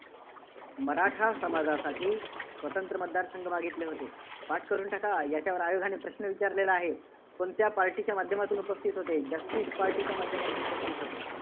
मराठा समाजासाठी स्वंतत्र मतदारसंघ मागितले होते. पाठ करून टाका. याच्यावर आयोगाने प्रश्न विचारलेला आहे. कोणत्या party च्या माध्यमातून उपस्थितीत होते, जस्टिस पार्टीच्या माध्यमातून उपस्थितीत होते.